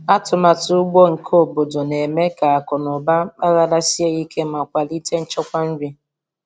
Atụmatụ ugbo nke obodo na-eme ka akụ na ụba mpaghara sie ike ma kwalite nchekwa nri.